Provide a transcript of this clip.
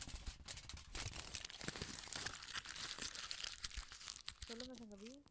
சொல்லுங்க சங்கவி